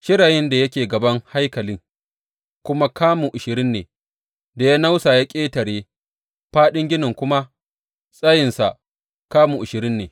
Shirayin da yake gaban haikalin kuma kamun ashirin ne da ya nausa ya ƙetare, fāɗin ginin kuma tsayinsa kamu ashirin ne.